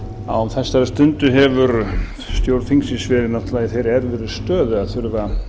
á þessari stundu hefur stjórn þingsins verið náttúrlega í þeirri erfiðu stöðu að þurfa